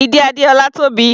Ìdí Adéọlá tóbi.